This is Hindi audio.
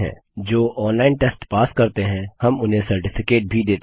जो ऑनलाइन टेस्ट पास करते हैं हम उन्हें सर्टिफिकेट भी देते हैं